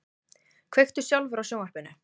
Kveiktu sjálfur á sjónvarpinu.